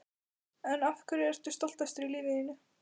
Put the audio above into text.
Af hverju ertu stoltastur í lífi þínu?